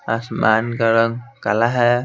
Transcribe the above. आसमान का रंग काला है।